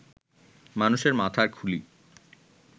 মানুষের মাথার খুলি